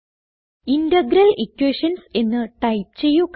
integral Equations എന്ന് type ചെയ്യുക